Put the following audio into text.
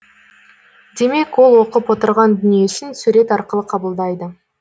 демек ол оқып отырған дүниесін сурет арқылы қабылдайды